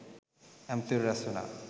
ඇමතිවරු රැස්වුණා